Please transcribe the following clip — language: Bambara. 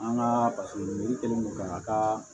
An ka pasi mi kɛlen ko ka taa